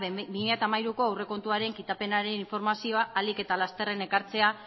bi mila hamairuko aurrekontuaren kitapenaren informazioa arin eta lasterra ekartzea